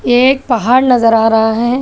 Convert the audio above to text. ये एक पहाड़ नजर आ रहा है।